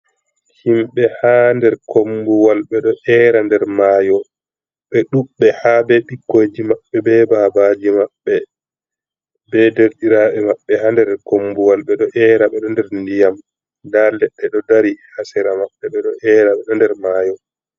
Himɓe ha nder kombuwal bedo era nder mayo, be ɗuɓɓe ha be ɓikkoji maɓɓe, be babaji maɓɓe, be derdiraɓe maɓɓe ha der kombuwal be do era be do der ndiyam da ledde do dari hasera maɓɓe be do era ɓe do nder mayo.